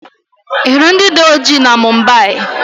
Ị hụrụ ndị dị ọjị na Mumbai?